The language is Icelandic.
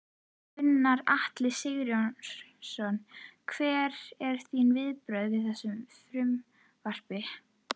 Gunnar Atli: Sigurjón, hver eru þín viðbrögð við þessu frumvarpi?